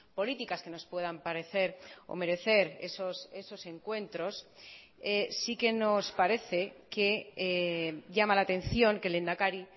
políticas que nos puedan parecer o merecer esos encuentros sí que nos parece que llama la atención que el lehendakari